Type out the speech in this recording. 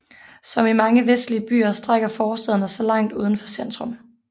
Som i mange vestlige byer strækker forstæderne sig langt uden for centrum